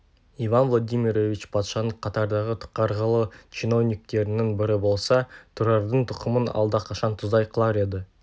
иван владимирович патшаның қатардағы қарғылы чиновниктерінің бірі болса тұрардың тұқымын алдақашан тұздай қылар еді